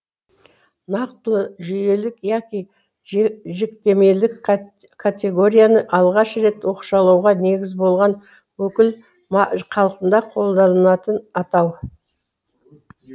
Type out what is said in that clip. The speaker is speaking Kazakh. нақтылы жүйелік яки жіктемелік категорияны алғаш рет оқшаулауға негіз болған өкіл хақында қолданылатын атау